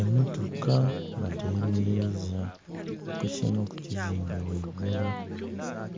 Emotoka badhemeleiza ku kimu ku kizimbe gheigulu